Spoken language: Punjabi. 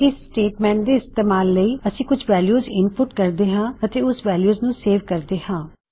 ਇਸ ਸਟੇਟਮੈਂਟ ਦੇ ਇਸਤੇਮਾਲ ਲਈ ਅਸੀਂ ਕੁਝ ਵੈਲਯੂ ਇਨਪੁਟ ਕਰਦੇ ਹਾਂ ਅਤੇ ਉਸ ਵੈਲਯੂ ਨੂੰ ਸੇਵ ਕਰਦੇ ਹਾਂ